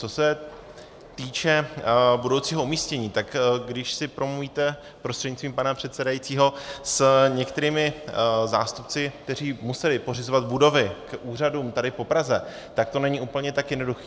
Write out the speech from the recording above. Co se týče budoucího umístění, tak když si promluvíte prostřednictvím pana předsedající s některými zástupci, kteří museli pořizovat budovy k úřadům tady po Praze, tak to není úplně tak jednoduché.